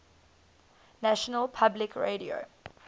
national public radio